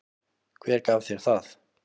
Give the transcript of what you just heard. Hver gaf þér það?